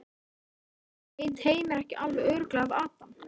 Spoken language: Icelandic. Veit Heimir ekki alveg örugglega af Adam?